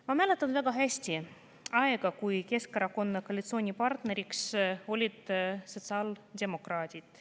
Ma mäletan väga hästi aega, kui Keskerakonna koalitsioonipartneriks olid sotsiaaldemokraadid.